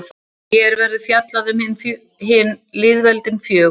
hér verður fjallað um hin lýðveldin fjögur